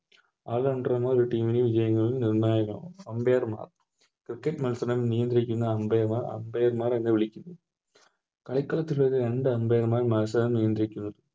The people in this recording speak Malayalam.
All rounder എന്നാൽ ഒരു Team ലെ Game ന് നിർണായകമാണ് Umpire മാർ Cricket മത്സരം നിയന്ത്രിക്കുന്ന Umpire നെ Umpire മാർ എന്ന് വിളിക്കുന്നു അത്തരത്തിലുള്ള രണ്ട് Umpire മാർ മത്സരം നിയന്ത്രിക്കുന്നു